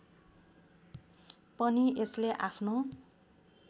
पनि यसले आफ्नो